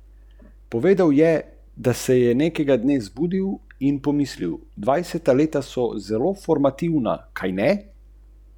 Kovinar Kočevje, ki je bil izbran na razpisu, bo dela opravil za skoraj sedem milijonov evrov.